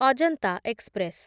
Ajanta express